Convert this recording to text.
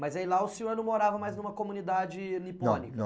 Mas aí lá o senhor não morava mais numa comunidade nipônica? Não, não